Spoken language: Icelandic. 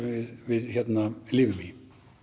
við lifum í